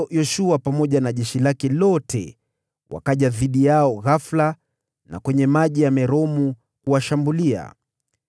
Hivyo Yoshua pamoja na jeshi lake lote wakaja dhidi yao ghafula kwenye Maji ya Meromu kuwashambulia,